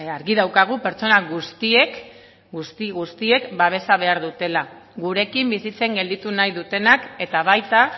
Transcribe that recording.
halan eta guztiz ere argi daukagu pertsona guztiek babesa behar dutela gurekin bizitzen gelditu nahi dutenek eta baita